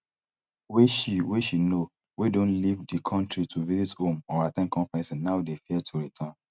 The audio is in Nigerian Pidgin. wey she wey she know wey don leave di kontri to visit home or at ten d conferences now dey fear to return